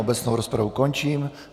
Obecnou rozpravu končím.